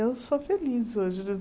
Eu sou feliz hoje.